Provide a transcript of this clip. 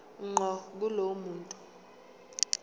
ngqo kulowo muntu